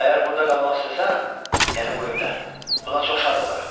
Əgər burda qalmaq istəsən, yəni bu evdə, buna çox şad olaram.